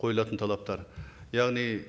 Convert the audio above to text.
қойылатын талаптар яғни